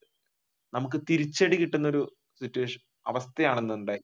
നമുക്ക് തിരിച്ചടി കിട്ടുന്ന ഒരു situation അവസ്ഥയാണ് ഇന്നുണ്ടായിരിക്കുന്നത്